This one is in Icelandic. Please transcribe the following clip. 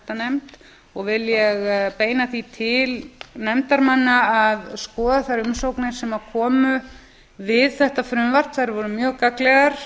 menntamálanefnd og vil ég beina því til nefndarmanna að skoða þær umsagnir sem komu við þetta frumvarp þær voru mjög gagnlegar